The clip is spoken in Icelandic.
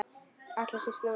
Allra síst núna.